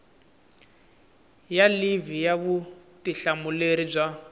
ya livhi ya vutihlamuleri bya